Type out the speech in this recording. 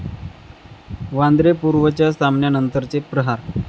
वांद्रे पूर्वच्या सामन्यानंतरचे 'प्रहार'